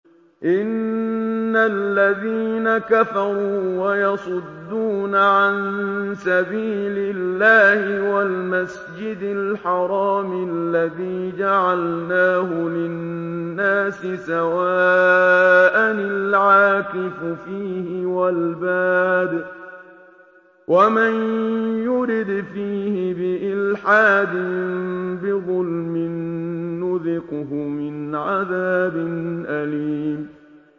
إِنَّ الَّذِينَ كَفَرُوا وَيَصُدُّونَ عَن سَبِيلِ اللَّهِ وَالْمَسْجِدِ الْحَرَامِ الَّذِي جَعَلْنَاهُ لِلنَّاسِ سَوَاءً الْعَاكِفُ فِيهِ وَالْبَادِ ۚ وَمَن يُرِدْ فِيهِ بِإِلْحَادٍ بِظُلْمٍ نُّذِقْهُ مِنْ عَذَابٍ أَلِيمٍ